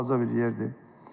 Naxçıvan balaca bir yerdir.